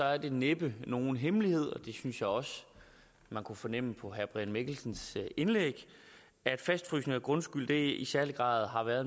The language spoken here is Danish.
er det næppe nogen hemmelighed det synes jeg også man kunne fornemme på herre brian mikkelsens indlæg at fastfrysning af grundskylden i særlig grad har været